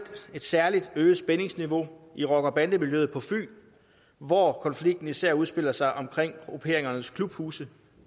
et særlig øget spændingsniveau i rocker bande miljøet på fyn hvor konflikten især udspiller sig omkring grupperingernes klubhuse